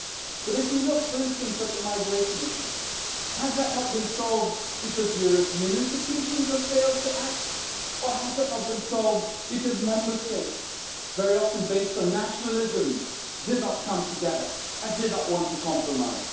But if we look, for instance, at the migration issue, has that not been solved because European institutions have failed to act or has that not been solved because Member States, very often based on nationalism, did not come together and did not want to compromise?